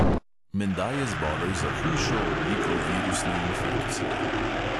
Menda je zbolel za hujšo obliko virusne infekcije.